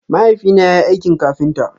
Mahaifi na yayi aikin kafinta.